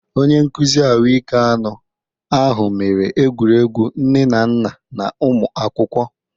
Onye nkuzi ahụike anụ ahụ mere egwuregwu nne na nna na ụmụ akwụkwọ.